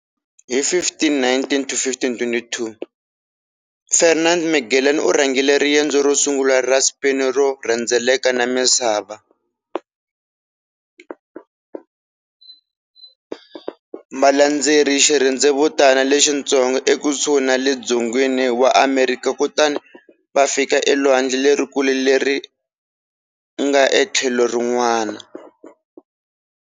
Hi 1519-1522, Ferdinand Magellan u rhangele riendzo rosungula ra Spain ro rhendzeleka na misava. Va landzele xirhendzevutana lexitsongo ekusuhi ni le dzongeni wa Amerika kutani va fika elwandle lerikulu leri nga etlhelo rin'wana.